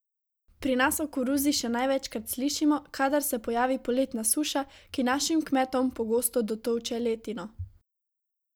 Pri nas o koruzi še največkrat slišimo, kadar se pojavi poletna suša, ki našim kmetom pogosto dotolče letino.